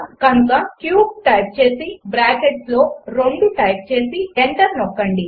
కనుక cube type చేసి బ్రాకెట్స్లో 2 టైప్ చేసి ఎంటర్ హిట్ చేయండి